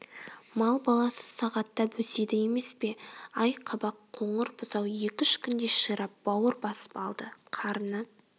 мал баласы сағаттап өседі емес пе ай қабақ қоңыр бұзау екі-үш күнде ширап бауыр басып алды қарны